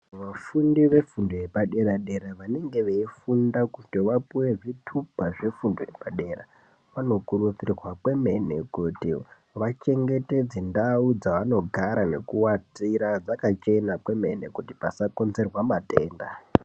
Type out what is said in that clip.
Vafundi vefundo yepadera dera vanenge veifunda kuti vapiwe zvitupa zvefundo yepadera vanokurudzirwa kwemene kuti vachengetedze ndau dzavanogara nekuatira dzirambe dzakachena kwemene kuti dzisakonzerwa matenda.